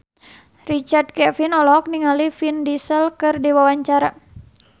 Richard Kevin olohok ningali Vin Diesel keur diwawancara